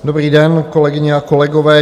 Dobrý den, kolegyně a kolegové.